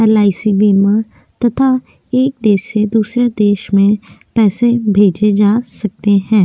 LIC बीमा तथा एक देश से दूसरे देश में पैसे भेजे जा सकते हैं।